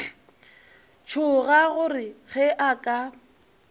tšhoga gore ge a ka